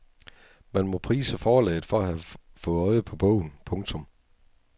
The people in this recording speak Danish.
Man må prise forlaget for at have fået øje på bogen. punktum